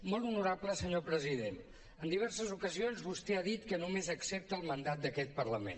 molt honorable senyor president en diverses ocasions vostè ha dit que només accepta el mandat d’aquest parlament